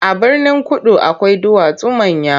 A Birnin-kudu akwai duwatsu manya.